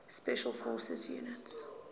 special forces units